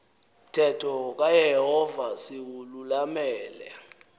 mthetho kayehova siwululamele